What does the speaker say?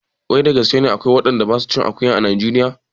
Wai da gaske akwai waɗanda ba su cin akuya a najeriya?